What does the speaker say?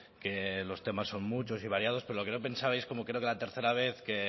que los temas son muchos y variados pero lo que no pensaba que como creo que la tercera vez